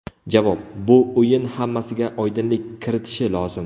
Javob: Bu o‘yin hammasiga oydinlik kiritishi lozim.